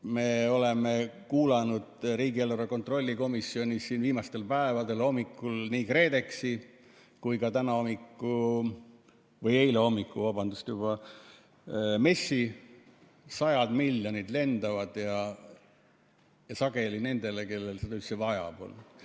Me oleme kuulanud riigieelarve kontrolli komisjonis viimastel päevadel nii KredExit kui ka eile hommikul MES‑i – sajad miljonid lendavad ja sageli nendele, kellel seda üldse vaja pole.